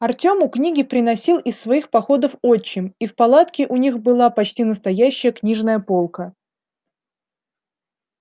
артёму книги приносил из своих походов отчим и в палатке у них была почти настоящая книжная полка